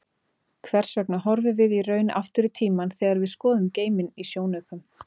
Hvers vegna horfum við í raun aftur í tímann þegar við skoðum geiminn í sjónaukum?